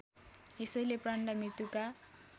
यसैले प्राणलाई मृत्युका